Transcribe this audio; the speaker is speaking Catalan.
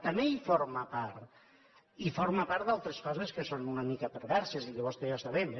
també en forma part i forma part d’altres coses que són una mica perverses i que vostè i jo sabem